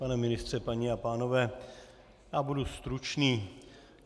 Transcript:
Pane ministře, paní a pánové, já budu stručný.